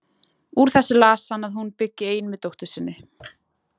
Úr þessu las hann að hún byggi ein með dóttur sinni.